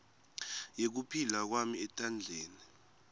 yekuphila kwami etandleni